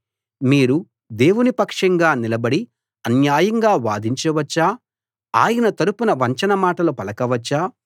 మీరు దేవుని పక్షంగా నిలబడి అన్యాయంగా వాదించ వచ్చా ఆయన తరపున వంచన మాటలు పలక వచ్చా